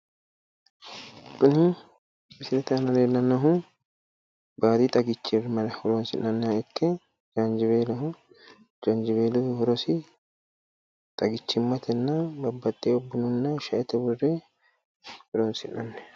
Misilete aana leellannohu baadi xagichira horonsi'nanni ikke jaanjiweeloho. jaanjiweeloho horosi xagichimmate babbaxewo bunnahonna shaete worre horonsi'nanni.